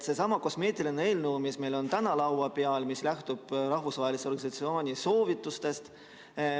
Seesama kosmeetiline eelnõu, mis meil on täna laua peal ja mis lähtub rahvusvahelise organisatsiooni soovitustest.